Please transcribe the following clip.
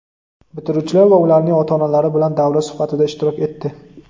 bitiruvchilar va ularning ota-onalari bilan davra suhbatida ishtirok etdi.